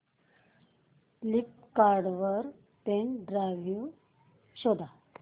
Flipkart वर pen drive शोधा